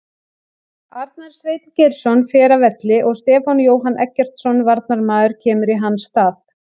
Arnar Sveinn Geirsson fer af velli og Stefán Jóhann Eggertsson varnarmaður kemur í hans stað.